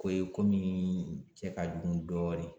Ko ye komi cɛ ka jugu dɔɔnin